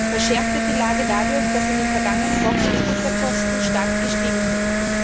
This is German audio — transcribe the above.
Verschärft wird die Lage dadurch, dass in den vergangenen Wochen die Futterkosten stark gestiegen sind.